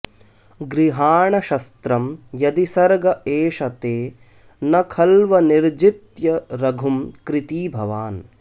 गृहाण शस्त्रं यदि सर्ग एष ते न खल्वनिर्जित्य रघुं कृती भवान्